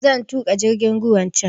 Zan tuƙa jirgin ruwan can